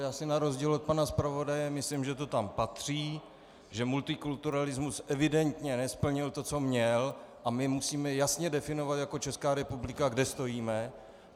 Já si na rozdíl od pana zpravodaje myslím, že to tam patří, že multikulturalismus evidentně nesplnil to, co měl, a my musíme jasně definovat jako Česká republika, kde stojíme.